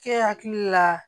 Kɛ hakili la